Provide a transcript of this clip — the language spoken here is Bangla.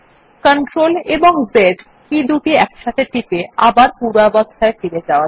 CTRL এবং Z একসাথে টিপে আবার পূর্বাবস্থায় ফিরে যাওয়া যাক